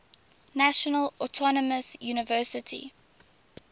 national autonomous university